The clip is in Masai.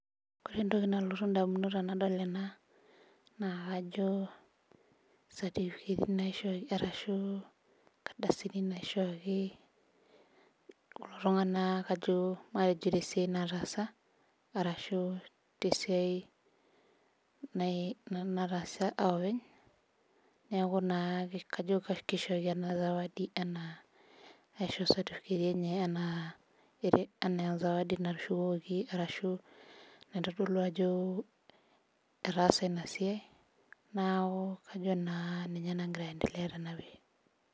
Kore entoki nalotu ndamunot tenadol ena naa kajo certificati naishoki arashu nkardasini naishooki kulo tung'anak ajo matejo te siai nataasa arashu te siai nai nataasa a oopeny, neeku naa kajo kishooki ena zawadi enaa aisho certificati enye enaa ere enaa zawadi [css] natushukoki arashu naitodolo ajo etaa ina siai. Naaku kajo naa ninye nagira aendelea tena pisha.